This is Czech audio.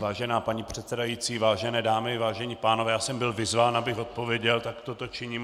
Vážená paní předsedající, vážené dámy, vážení pánové, já jsem byl vyzván, abych odpověděl, tak toto činím.